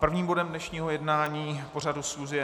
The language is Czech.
Prvním bodem dnešního jednání pořadu schůze je